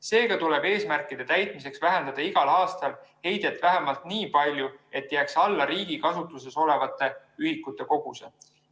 Seega tuleb eesmärkide täitmiseks vähendada igal aastal heidet vähemalt nii palju, et see jääks alla riigi kasutuses olevate ühikute koguse.